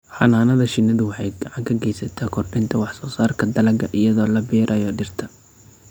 Xannaanada shinnidu waxay gacan ka geysataa kordhinta wax-soo-saarka dalagga iyadoo la beerayo dhirta.